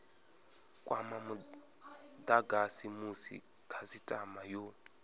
kwa mudagasi musi khasitama yo